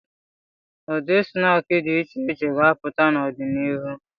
Ụdị snaakị dị iche iche ga-apụta n'ọdịnihu.